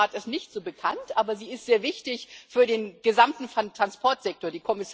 Die Binnenschifffahrt ist nicht so bekannt, aber sie ist sehr wichtig für den gesamten Transportsektor.